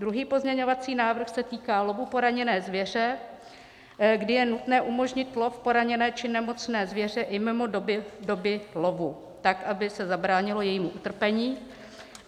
Druhý pozměňovací návrh se týká lovu poranění zvěře, kdy je nutné umožnit lov poraněné či nemocné zvěře i mimo dobu lovu tak, aby se zabránilo jejímu utrpení.